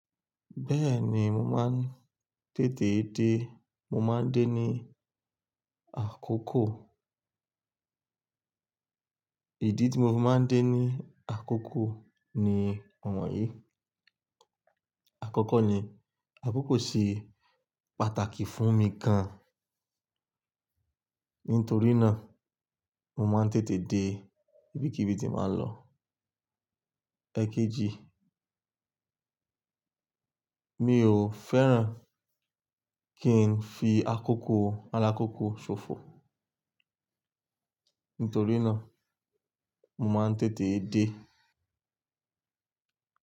Bẹ́ẹ̀ni, mo máa ń tètè dé, mo máa ń dé ní àkókò. Ìdí tí mo máa ń dé ní àkókò ni iwọn yìí: Àkọ́kọ́ ni àkókò ṣe pàtàkì fún mi gan. Nítorí náà mo máa ń tètè dé, ibikíbi tí bàá ń lọ. Ẹ̀keji, mi ò fẹ́ràn kí n fi àkókò alákókò ṣòfò. Nítorí náà mo máa ń tètè dé.